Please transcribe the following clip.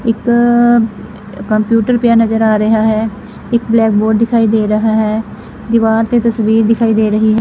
ਇੱਕ ਅ ਕੰਪਿਊਟਰ ਪਿਆ ਨਜ਼ਰ ਆ ਰਿਹਾ ਹੈ ਇਕ ਬਲੈਕ ਬੋਰਡ ਦਿਖਾਈ ਦੇ ਰਹਾ ਹੈ ਦੀਵਾਰ ਤੇ ਤਸਵੀਰ ਦਿਖਾਈ ਦੇ ਰਹੀ ਹੈ।